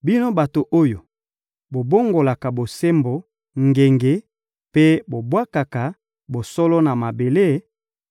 Bino bato oyo bobongolaka bosembo ngenge mpe bobwakaka bosolo na mabele,